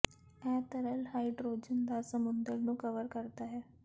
ਇਹ ਤਰਲ ਹਾਈਡਰੋਜਨ ਦਾ ਸਮੁੰਦਰ ਨੂੰ ਕਵਰ ਕਰਦਾ ਹੈ